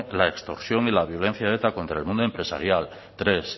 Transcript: la extorsión y la violencia de eta contra el mundo empresarial tres